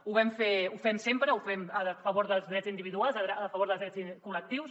ho vam fer ho fem sempre ho fem a favor dels drets individuals a favor dels drets col·lectius